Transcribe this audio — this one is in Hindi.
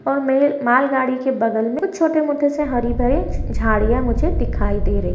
और मेल मालगाड़ी के बगल में कुछ छोटे-मोटे से हरी-भरी झाड़ियां मुझे दिखाई दे रही है।